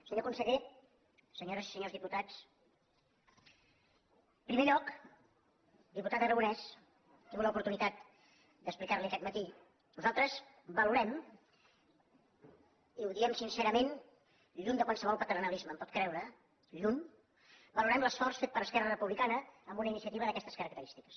senyor conseller senyores i senyors diputats en primer lloc diputat aragonès he tingut l’oportunitat d’explicar li ho aquest matí nosaltres valorem i ho diem sincerament lluny de qualsevol paternalisme em pot creure lluny valorem l’esforç fet per esquerra republicana amb una iniciativa d’aquestes característiques